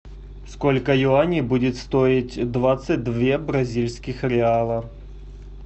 сколько юаней будет стоить двадцать две бразильских реала